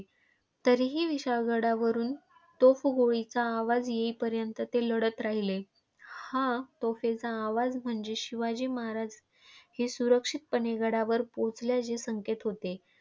तरीही विशाळगडावरुन तोफ गोळीचा आवाज येईपर्यंत ते लढत राहिले. हा तोफेचा आवाज म्हणजे शिवाजी महाराज हे सुरक्षितपणे गडावर पोहोचल्याचे संकेत होते.